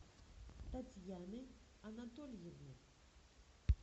татьяны анатольевны